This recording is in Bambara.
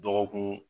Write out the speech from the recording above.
Dɔgɔkun